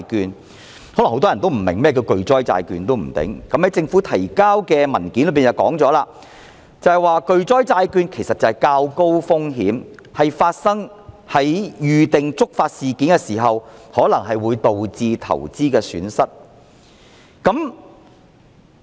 也許很多人並不明白甚麼是巨災債券，政府提交的文件已說明，其實巨災債券即是較高風險的投資工具，在發生預定觸發事件時可能導致的投資損失。